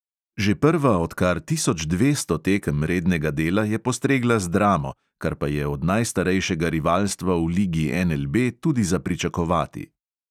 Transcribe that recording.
Že prva od kar tisoč dvesto tekem rednega dela je postregla z dramo, kar pa je od najstarejšega rivalstva v ligi NLB tudi za pričakovati.